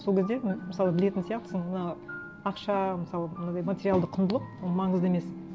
сол кезде ну мысалы білетін сияқтысың мынау ақша мысалы мынадай материалды құндылық ол маңызды емес